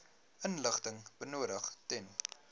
inligting benodig ten